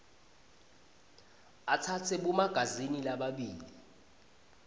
atsatse bomagazini lababili